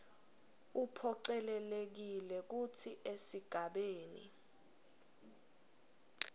uphocelelekile kutsi esigabeni